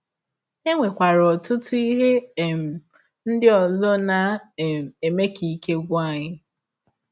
E nwekwara ọtụtụ ihe um ndị ọzọ na um - eme ka ike gwụ anyị.